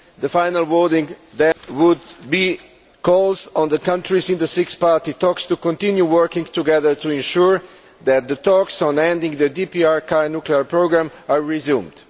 The final wording would then be Calls on the countries in the Six Party Talks to continue working together to ensure that the talks on ending the DPRK nuclear programme are resumed'.